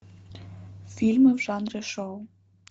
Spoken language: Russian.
фильмы в жанре шоу